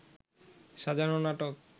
সাজানো নাটক